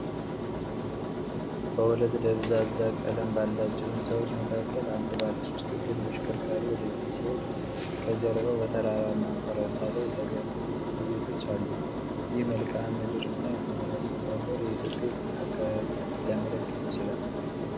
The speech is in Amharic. በሁለት ደብዛዛ ቀለም ባላቸው ሕንፃዎች መካከል አንድ ባለሶስት እግር ተሽከርካሪ ወደ ፊት ሲሄድ፣ ከጀርባው በተራራማ ኮረብታ ላይ የተገነቡ ብዙ ቤቶች አሉ። ይህ መልክዓ ምድርና የመኖሪያ አሰፋፈር በኢትዮጵያ የትኛውን አካባቢ ሊያመለክት ይችላል?